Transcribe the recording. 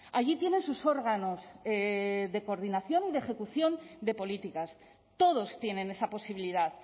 allí tienen sus órganos de coordinación y de ejecución de políticas todos tienen esa posibilidad